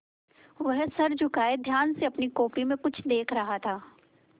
वह सर झुकाये ध्यान से अपनी कॉपी में कुछ देख रहा था